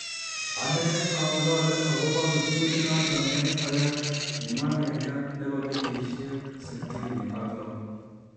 "Anee ang'alale agobo kiptulit noton ne oyoe," kimwa Wenger nebo kenyisiek 66.